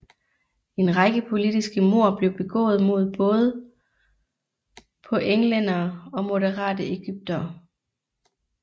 En række politiske mord blev begået mod både på englændere og moderate egyptere